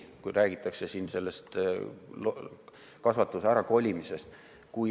Räägitakse kasvanduste ärakolimisest.